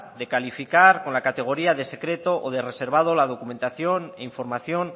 de calificar con la categoría de secreto o de reservado la documentación e información